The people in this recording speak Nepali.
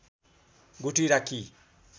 गुठी राखी